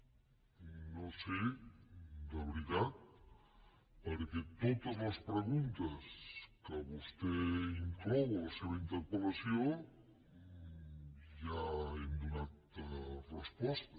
no ho sé de veritat perquè a totes les preguntes que vostè inclou a la seva interpellació ja hi hem donat resposta